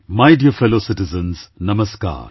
My dear fellow citizens, Namaskar